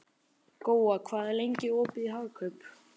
Góa, hvað er lengi opið í Hagkaup?